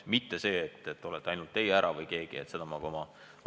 Mitte juhtudeks, kui teie või keegi teine Tallinnas ei viibi.